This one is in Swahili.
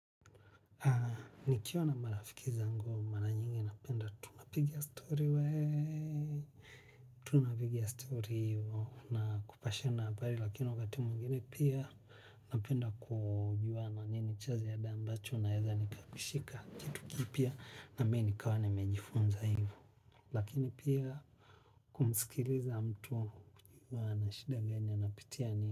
Nikiwa na marafiki zangu, mara nyingi napenda tunapigia story weee. Tunapigia story hiyo na kupashana habari lakini wakati mwingine pia napenda kujua na nini chazi ya dambacho na heza nikabishika kitu kipia na mei nikawane mejifunza hiyo. Lakini pia kumsikiliza mtu wana shida ganyanapitia ni.